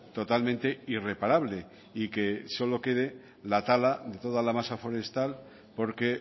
totalmente irreparable y que solo quede la tala de toda la masa forestal porque